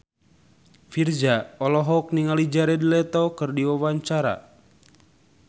Virzha olohok ningali Jared Leto keur diwawancara